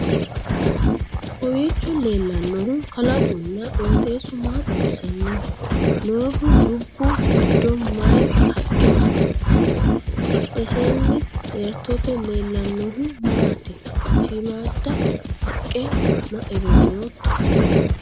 kowiicho leellannohu kalaqunna qoxeessu ma xawisannoho? noohu dubbu giddo mayee haqqe afantanno? badhesiinni xeertote leellannohu maati? shiimmada haqqe su'ma egennooto?